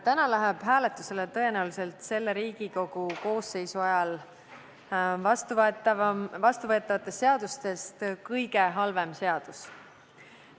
Täna läheb hääletusele tõenäoliselt selle Riigikogu koosseisu ajal vastuvõetavatest seadustest kõige halvem seadus.